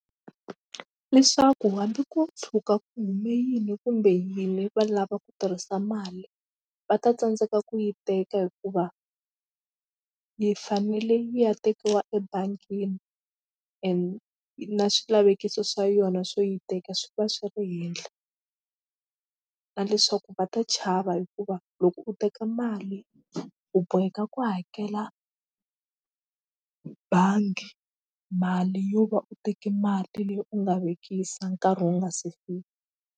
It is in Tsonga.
Leswaku hambi ko tshuka ku hume yini kumbe yini va lava ku tirhisa mali va ta tsandzeka ku yi teka hikuva yi fanele yi ya tekiwa ebangini and na swilavekiso swa yona swo yi teka swi va swi ri henhla na leswaku va ta chava hikuva loko u teka mali u boheka ku hakela bangi mali yo va u teke mali leyi u nga vekisa nkarhi wu nga se fika.